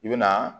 I bɛ na